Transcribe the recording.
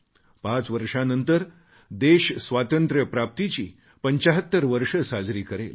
पाच वर्षांनंतर देश स्वातंत्र्यप्राप्तीची 75 वर्षं साजरी करेल